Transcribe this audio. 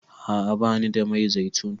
A'a bani da mai zaitun.